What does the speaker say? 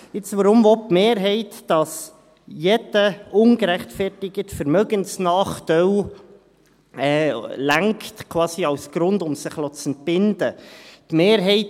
Nun, weshalb will die Mehrheit, dass jeder ungerechtfertigte Vermögensnachteil quasi als Grund ausreicht, um sich entbinden zu lassen?